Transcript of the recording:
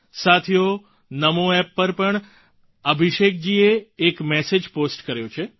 સાથીઓ NamoApp પર અભિષેકજી એ એક મેસેજ પોસ્ટ કર્યો છે